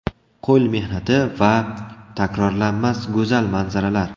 Qo‘l mehnati va... takrorlanmas, go‘zal manzaralar!